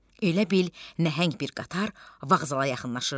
Elə bil nəhəng bir qatar vağzala yaxınlaşırdı.